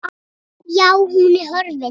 Já, hún er horfin.